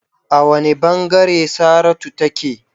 A wane bangare Saratu take?